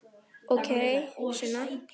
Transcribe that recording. Ókei, Sunna.